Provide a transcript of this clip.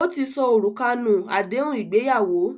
Ó ti sọ òrùka nù àdéhùn ìgbéyàwó